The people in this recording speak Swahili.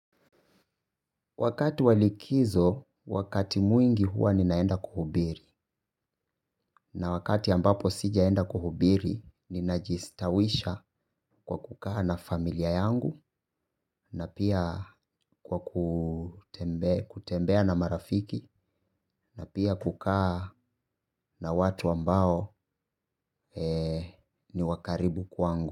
Wakati wa likizo, wakati mwingi huwa ninaenda kuhubiri na wakati ambapo sijaenda kuhubiri, ninajistawisha kwa kukaa na familia yangu na pia kwa ku kutembea na marafiki, na pia kukaa na watu ambao ni wakaribu kwangu.